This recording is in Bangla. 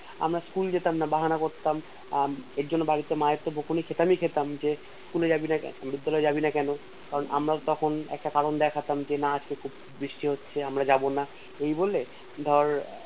আমার School যেতাম না বাহানা করতাম আহ এর জন্য বাড়িতে মার থেকে বকুনি খেতাম ই খেতাম যে School এ যাবি না কেনো বিদ্যালয় যাবিন কেনো কারণ আমরা তখন একটা কারণ দেখাটাম যে না আজকে তো বৃষ্টি হচ্ছে আমরা যাবোনা এই বলে ধর